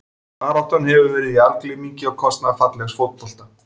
Baráttan hefur verið í algleymingi á kostnað fallegs fótbolta.